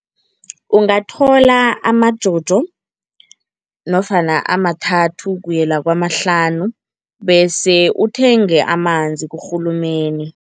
Ungathola amajojo nofana amathathu kuyela kwamahlanu bese uthenge amanzi kurhulumeni.